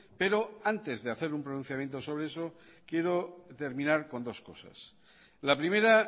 pero antes de hacer un pronunciamiento sobre eso quiero terminar con dos cosas la primera